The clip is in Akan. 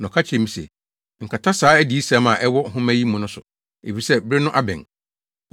Na ɔka kyerɛɛ me se, “Nkata saa adiyisɛm a ɛwɔ nhoma yi mu no so, efisɛ bere no abɛn.